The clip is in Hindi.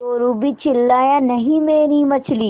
चोरु भी चिल्लाया नहींमेरी मछली